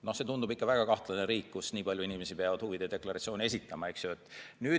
No see tundub väga kahtlane riik, kus nii palju inimesi peab huvide deklaratsiooni esitama.